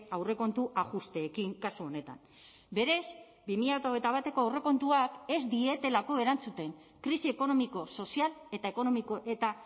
aurrekontu ajusteekin kasu honetan berez bi mila hogeita bateko aurrekontuak ez dietelako erantzuten krisi ekonomiko sozial eta ekonomiko eta